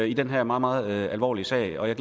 i den her meget meget alvorlige sag og jeg